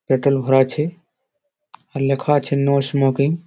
আছে। আর লেখা আছে নো স্মোকিং ।